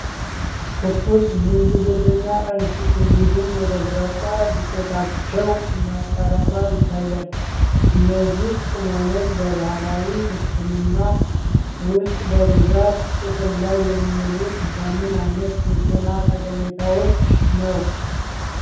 ትኩስ ዝንጅብልና እርድ፣ እንዲሁም የደረቀ ዱቄታቸው እና ቀረፋ ይታያል። እነዚህ ቅመሞች በባህላዊ ሕክምና ውስጥ በብዛት ጥቅም ላይ የሚውሉት ለምን ዓይነት የጤና ጠቀሜታዎች ነው?